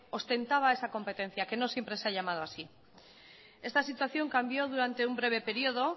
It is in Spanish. ostentaba esa competencia que no siempre se ha llamado así esta situación cambió durante un breve periodo